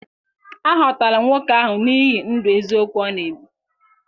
A họtara nwoke ahụ n’ihi ndụ eziokwu ọ na-ebi.